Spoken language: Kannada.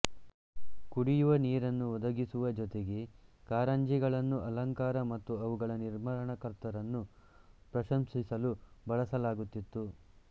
ಕುಡಿಯುವ ನೀರನ್ನು ಒದಗಿಸುವ ಜೊತೆಗೆ ಕಾರಂಜಿಗಳನ್ನು ಅಲಂಕಾರ ಮತ್ತು ಅವುಗಳ ನಿರ್ಮಾಣಕರ್ತರನ್ನು ಪ್ರಶಂಸಿಸಲು ಬಳಸಲಾಗುತ್ತಿತ್ತು